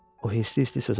O hirslə-hirslə sözə başladı.